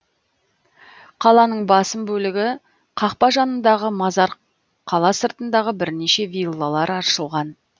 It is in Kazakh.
қаланың басым бөлігі қақпа жанындағы мазар қала сыртындағы бірнеше виллалар аршылған